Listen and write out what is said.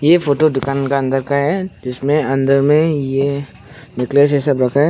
ये फोटो दुकान का अंदर का है जिसमें अंदर में ये नेकलेस ये सब रखा है।